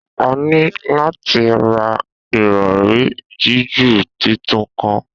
A ni lati ra irọri jiju titun kan